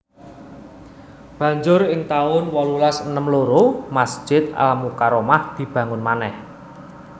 Banjur ing taun wolulas enem loro Masjid Al Mukarromah dibangun manèh